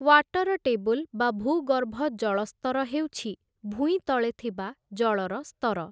Water table ବା ଭୂଗର୍ଭ ଜଳସ୍ତର ହେଉଛି ଭୂଇଁତଳେ ଥିବା ଜଳର ସ୍ତର ।